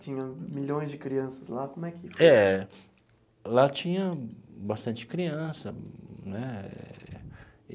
Tinha milhões de crianças lá, como é que... É, lá tinha bastante criança, né?